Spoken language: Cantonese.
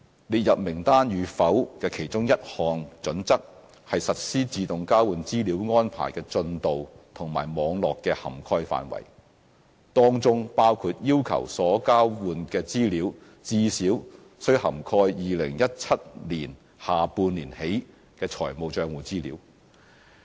列入名單與否的其中一項準則，是實施自動交換資料安排的進度和網絡的涵蓋範圍，當中包括要求所交換的資料最少須涵蓋2017年下半年起的財務帳戶資料。